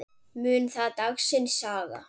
Mun það dagsins saga.